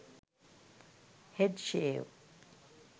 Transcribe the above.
head shave